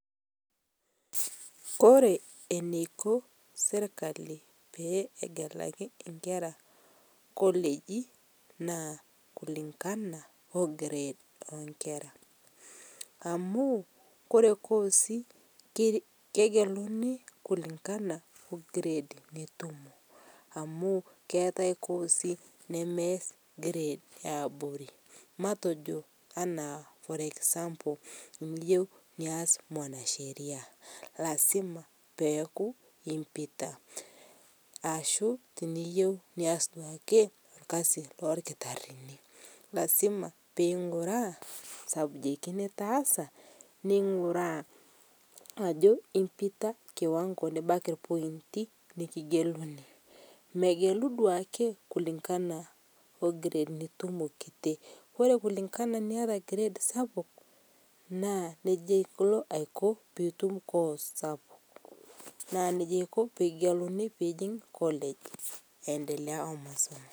Kore eneiko esirkali peegekali nkeraa kolegii, naa kulingana oo grade enkera amu ore kosii kegelunii kulingana oo grade nitumoo amu keatai kosii nemeaz grade eaborii, matejo ana for example miyeu nias mwanasheria lazima peaku impitaa, ashuu iyeu duake nias lkazi lolkitarinii lazima peyie ing'uraa subjects nitaaza neinguraa ajo impitaa kiwango nibakii lpointii nikigelunii, megeluu duake kulingana o grade nitumoo kitii Kore kulingana naita grade sapuk naa neja eikoo pilo atum course sapuk, naa eikoo pikigeluni piijing' college, aendelea oo masomo.